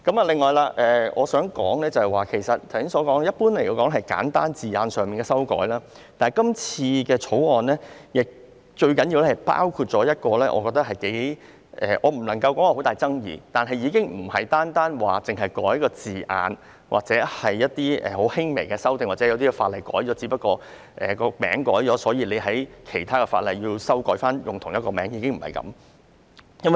此外，我想說，雖然《條例草案》普遍涉及簡單字眼上的修改，但最重要的是，《條例草案》包括一項我認為頗具爭議——我不能說很大爭議，但已不是單純涉及修改一個字眼或作很輕微的修訂，或是因為有些法例的名稱改了，因而其他法例也要作出相應修訂那麼簡單。